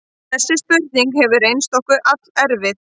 Þessi spurning hefur reynst okkur allerfið.